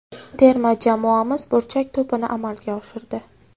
Terma jamoamiz burchak to‘pini amalga oshirdi.